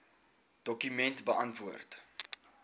dokument beantwoord